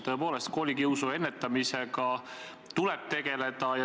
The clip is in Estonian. Tõepoolest, koolikiusu ennetamisega tuleb tegeleda.